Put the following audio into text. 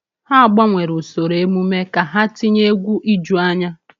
Ha gbanwere usoro emume ka ha tinye egwu ijuanya.